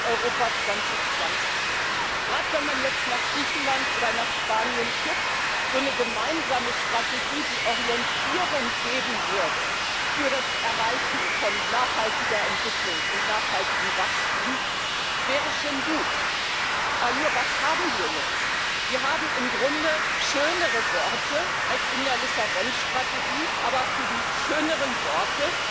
Was ist mit Europa 2020? Gerade wenn man jetzt nach Griechenland oder nach Spanien guckt Eine gemeinsame Strategie, die Orientierung für das Erreichen von nachhaltiger Entwicklung und nachhaltigem Wachstum geben würde, die wäre schon gut. Nur, was haben wir jetzt? Wir haben im Grunde schönere Worte als in der Lissabon Strategie, aber für die schöneren